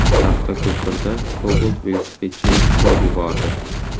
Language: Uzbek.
Taxtako‘pirda Cobalt velosipedchini urib yubordi.